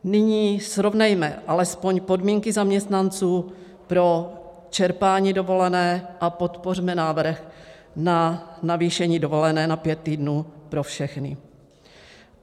Nyní srovnejme alespoň podmínky zaměstnanců pro čerpání dovolené a podpořme návrh na navýšení dovolené na pět týdnů pro všechny.